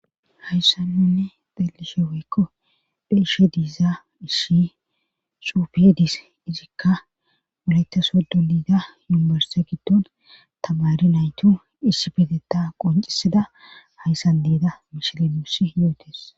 hayssan nunne xelishe woykko beishe diiza isihi xuufe de7es izikka woolayiita soddo diida yunburiste giddon tamari naytu issiphetetha qoncisida hayssan deeda mishile nuus yootes